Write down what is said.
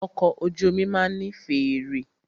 Ọkọ̀ ojú omi máà ní fèèrè.